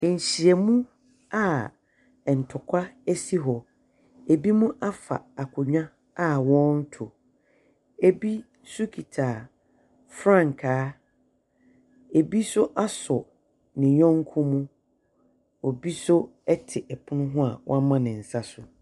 Nhyiamu a ntɔkwa asi hɔ. Binom afa akonnwa a wɔreto. Bi nso kita frankaa. Ɛbi nso asɔ ne yɔnko mu. Obi nso te pono ho a wama ne nsa so.